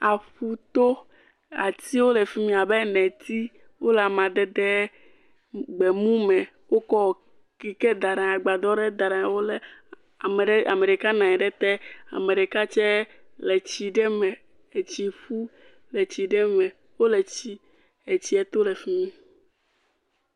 Aƒuto. Ati le fi mi abe neti. Wole amadede gbemu me. wokɔɔ kike da ɖa anyi, agbadɔ ɖe da ɖe anyi. Wolé ame ɖe, ame ɖeka na nyi ɖe ete. Ame ɖeka tsɛ le tsii ɖe me, etsi ƒu le tsi ɖe me. wole tsii etsiɛ to le fi mi.